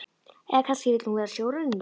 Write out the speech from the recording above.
Eða kannski vill hún vera sjóræningi?